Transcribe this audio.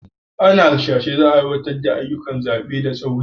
Ana hasashen za a aiwatar da ayyukan zaɓe da tsauri.